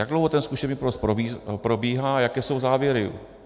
Jak dlouho ten zkušební provoz probíhá, jaké jsou závěry?